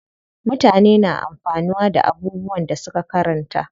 Mutane na amfanuwa da abubuwan da suka karanta.